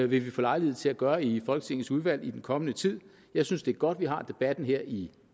vi få lejlighed til at gøre i folketingets udvalg i den kommende tid jeg synes det er godt at vi har debatten her i